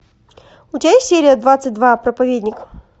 у тебя есть серия двадцать два проповедник